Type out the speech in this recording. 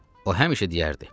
O həmişə deyərdi: